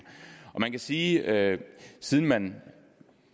man kan sige at siden man